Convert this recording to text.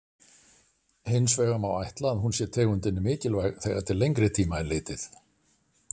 Hins vegar má ætla að hún sé tegundinni mikilvæg þegar til lengri tíma er litið.